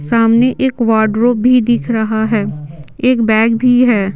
सामने एक वार्ड्रोब भी दिख रहा है एक बैग भी है।